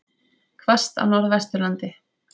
Hvasst á Norðvesturlandi